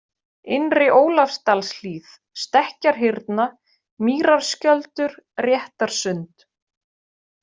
Innri-Ólafsdalshlíð, Stekkjarhyrna, Mýrarskjöldur, Réttarsund